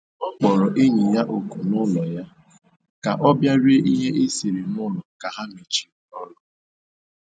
Ọ kpọrọ enyi ya oku n'ụlọ ya ka ọ bịa rie ihe e siri n'ụlọ ka ha mechiri ọrụ